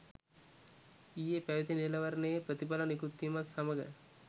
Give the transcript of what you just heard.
ඊයේ පැවති නිලවරණයේ ප්‍රතිඵල නිකුත් වීමත් සමඟ